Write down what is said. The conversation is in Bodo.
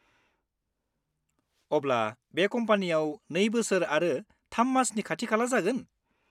अब्ला, बे कम्पानियाव 2 बोसोर आरो 3 मासनि खाथि-खाला जागोन?